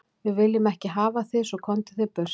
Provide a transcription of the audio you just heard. Við viljum ekki hafa þig svo, komdu þér burt.